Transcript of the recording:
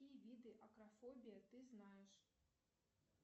какие виды акрофобии ты знаешь